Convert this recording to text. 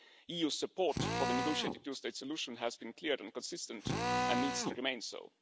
EU support for the negotiated two state solution has been clear and consistent and needs to remain so.